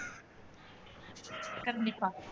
கண்டிப்பா